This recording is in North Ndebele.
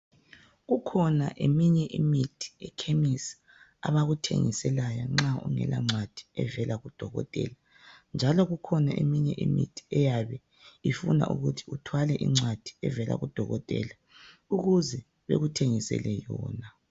Kukhona eminye imithi echemis abakuthengisela yona nxa ungela ncwadi evela kudokotela njalo kukhona eminye imithi eyabe ifuna ukuthi uthwale incwadi evela kudokotela ukuze bekuthengisele yona.